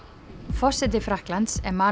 forseti Frakklands